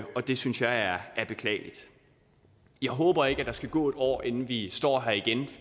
det synes jeg er beklageligt jeg håber ikke der skal gå et år inden vi står her igen